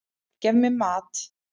Gef mér mat!